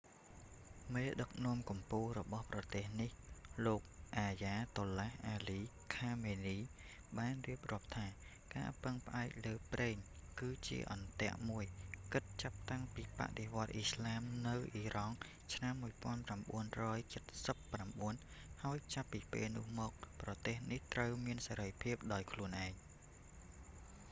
មេដឹកនាំកំពូលរបស់ប្រទេសនេះ លោក អាយ៉ាតុលឡាស់ អាលី ខាមេនី ayatollah ali khamenei បានរៀបរាប់ថា ការពឹងផ្អែកលើប្រេង គឺជា អន្ទាក់ មួយ គិតចាប់តាំងពីបដិវត្តន៍អ៊ីស្លាមនៅអ៊ីរ៉ង់ឆ្នាំ1979 ហើយចាប់ពីពេលនោះមក ប្រទេសនេះត្រូវមានសេរីភាពដោយខ្លួនឯង